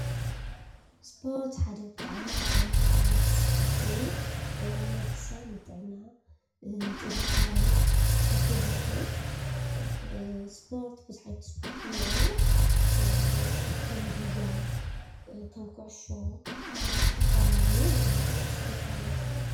እስፖርት ሓደ ብጣዕሚ ጠቃሚ ዝኮነ እንቅስቃሴ እዩ፡፡ ንወዲ ሰብ ንጥዕና ንጥንካሬ ክሕግዝ ይክእል፡፡ እስፖርት ቡዙሕ ዓይነት እስፖርት እንሄዉ ከም ጉያ፣ ከም ኩዕሶ ከም ዝትፈላለዩ እስፖርት ተባሂሎም ይፅዉዑ፡፡